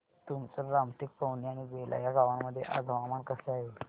तुमसर रामटेक पवनी आणि बेला या गावांमध्ये आज हवामान कसे आहे